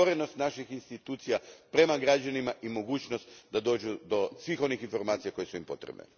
Otvorenost naših institucija prema građanima i mogućnost da dođu do svih onih informacija koje su im potrebne.